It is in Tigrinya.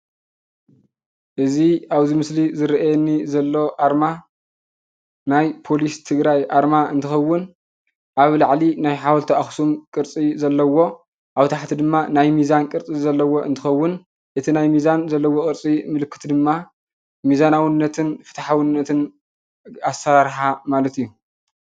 እዚ ኣብዚ ምስሊ ዝርአየኒ ዘሎ ኣርማ ናይ ፖሊስ ትግራይ ኣርማ እንትኸዉን ኣብ ላዕሊ ናይ ሓወልቲ ኣኽሱም ቅርፂ ዘለዎ ኣብ ታሕቲ ድማ ናይ ሚዛን ቅርፂ ዘለዎ እንትኸዉን እቲ ናይ ሚዛን ዘለዎ ቅርፂ ምልክት ድማ ሚዛናዉነትን ፍትሓዉነትን ኣሳራርሓ ማለት እዩ።